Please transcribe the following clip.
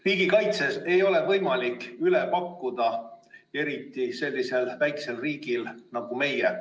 Riigikaitses ei ole võimalik üle pakkuda, eriti sellisel väikesel riigil nagu meie.